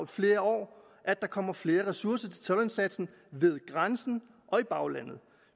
flere år at der kommer flere ressourcer til toldindsatsen ved grænsen og i baglandet